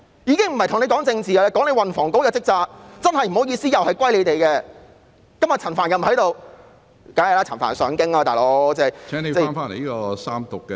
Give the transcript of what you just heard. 我不是跟局長談政治，而是談運房局的職責——真的不好意思，責任又歸於他們，今天陳帆又不在席，當然，陳帆要上京......